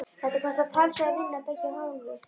Þetta kostar talsverða vinnu af beggja hálfu.